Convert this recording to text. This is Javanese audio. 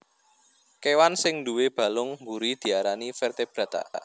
Kéwan sing nduwé balung mburi diarani Vertebrata